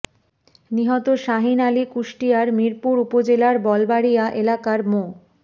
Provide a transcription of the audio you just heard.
নিহত শাহীন আলী কুষ্টিয়ার মিরপুর উপজেলার বলবাড়ীয়া এলাকার মো